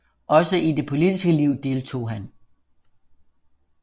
Også i det politiske liv deltog han